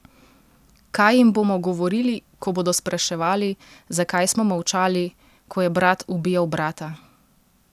Kaj jim bomo govorili, ko bodo spraševali, zakaj smo molčali, ko je brat ubijal brata?